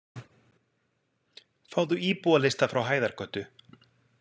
Fáðu íbúalista frá Hæðargötu.